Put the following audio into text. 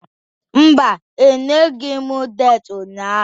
Mba, enyeghị m deski ụnyaahụ.